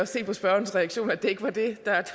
se på spørgerens reaktion at det ikke var det der